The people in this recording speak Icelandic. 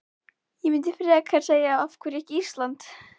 Ég myndi frekar segja af hverju ekki Ísland?